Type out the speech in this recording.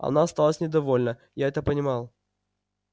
она осталась недовольна и это понимал